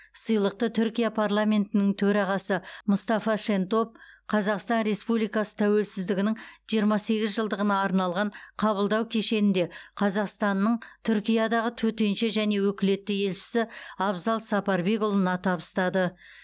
сыйлықты түркия парламентінің төрағасы мұстафа шентоп қазақстан республикасы тәуелсіздігінің жиырма сегіз жылдығына арналған қабылдау кешенінде қазақстанның түркиядағы төтенше және өкілетті елшісі абзал сапарбекұлына табыстады